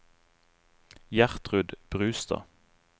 Gjertrud Brustad